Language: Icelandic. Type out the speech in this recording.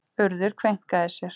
Urður kveinkaði sér.